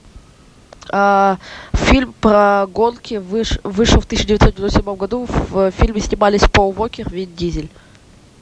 фильм про гонки вышел в тысяча девятьсот девяносто седьмом году в фильме снимались пол уокер вин дизель